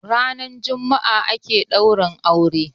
ranar Juma'a ake daura aure